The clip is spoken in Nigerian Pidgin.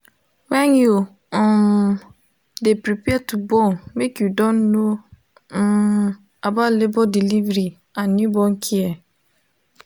when you um de prepare to born make you don know um about labor delivery and newborn care